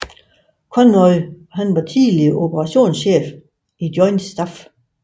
Conway var tidligere operationschef i Joint Staff